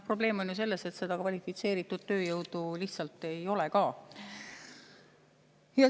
Probleem on ju selles, et kvalifitseeritud tööjõudu lihtsalt ei ole.